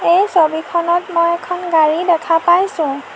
এই ছবিখনত মই এখন গাড়ী দেখা পাইছোঁ।